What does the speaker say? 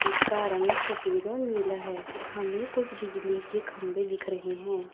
उसका रंग सफेद और नीला है हमें कुछ बिजली के खंभे दिख रहे हैं।